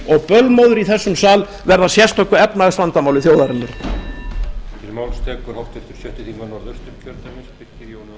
og bölmóður í þessum sal verði að sérstöku efnahagsvandamáli þjóðarinnar ræðu lokið